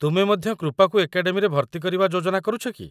ତୁମେ ମଧ୍ୟ କୃପାକୁ ଏକାଡେମୀରେ ଭର୍ତ୍ତିକରିବା ଯୋଜନା କରୁଛ କି?